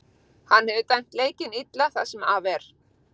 Hann hefur dæmt leikinn illa það sem af er.